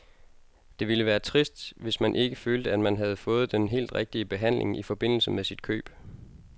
Det ville være trist, hvis man ikke følte, at man havde fået den helt rigtige behandling i forbindelse med sit køb.